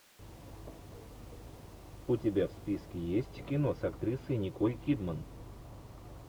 у тебя в списке есть кино с актрисой николь кидман